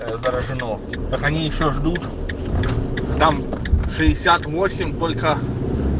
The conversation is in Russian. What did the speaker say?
заражено так они ещё ждут там шестьдесят восемь только